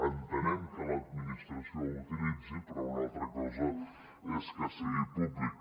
entenem que l’administració ho utilitzi però una altra cosa és que sigui públic